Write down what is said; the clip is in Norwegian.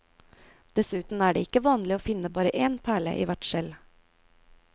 Dessuten er det ikke vanlig å finne bare én perle i hvert skjell.